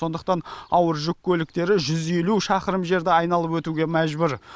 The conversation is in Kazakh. сондықтан ауыр жүк көліктері жүз елу шақырым жерді айналып өтуге мәжбүр